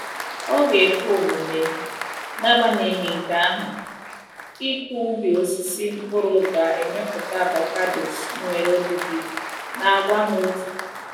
Ọ ga-ekwe omume, n’agbanyeghị nke ahụ, ịkụ ubi osisi mkpụrụ ga-emepụta avocados nwere ọdịdị na àgwà hà otu.